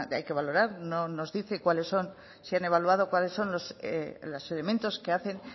hay que valorar no nos dice cuáles son si han evaluado cuáles son los elementos que hacen